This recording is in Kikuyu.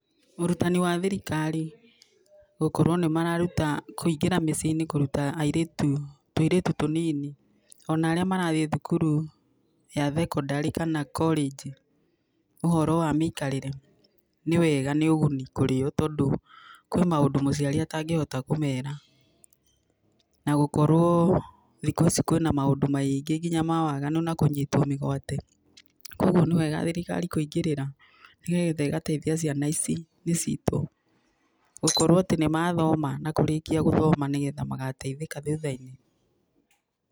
Ũrutani wa thirikari gũkorwo nĩmarũta kũingĩra miciĩ-inĩ kũrũta, airĩtu tũirĩtũ tũnini ona aria marathiĩ thukuru ya thekondarĩ kana korĩnji ũhoro wa mĩikarĩre, nĩwega nĩũgũni kũrĩo tondũ kwĩ maũndũ mũciari atangĩhota kũmera. Na gũkorwo thikũ ici kwina maũndũ maingĩ nginya ma waganu na kũnyitwo mĩgwate. Kogũo nĩwega thirikari kũingĩrira nĩgetha ĩgateithia ciana ici nicitũ gũkorwo atĩ nĩ mathoma na kũrĩkia gũthoma nĩgetha magateithĩka thutha-inĩ.